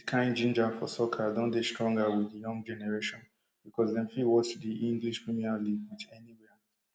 dis kain ginger for soccer don dey stronger wit di young generation bicos dem fit watch di english premier league wit anywia